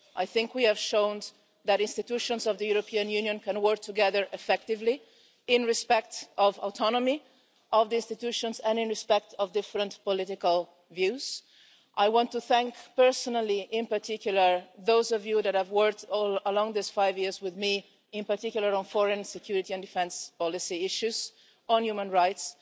I think we have shown that institutions of the European Union can work together effectively, in respect of the autonomy of the institutions and in respect of different political views. I want to thank personally, in particular, those of you that have worked along this five years with me, in particular on foreign, security and defence policy issues, on human rights,